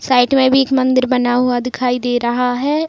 Side में भी एक मंदिर बना हुआ दिखाई दे रहा है।